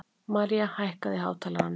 Marja, hækkaðu í hátalaranum.